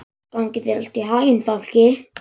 Gangi þér allt í haginn, Fálki.